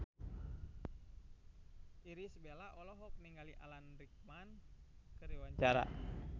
Irish Bella olohok ningali Alan Rickman keur diwawancara